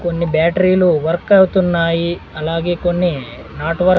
కొన్ని బ్యాట్రీలు వర్క్ అవుతున్నాయి అలాగే కొన్ని నాట్ వర్--